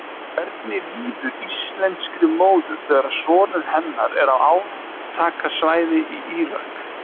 En hvernig líður íslenskri móður þegar sonur hennar er á átakasvæði í Írak?